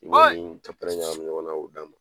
I b'o ni ɲagami ɲɔgɔn k'o d'a ma